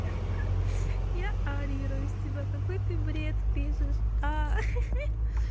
я орирую с тебя какой ты бред пишешь а